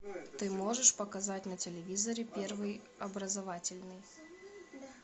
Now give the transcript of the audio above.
ты можешь показать на телевизоре первый образовательный